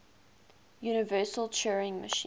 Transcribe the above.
universal turing machine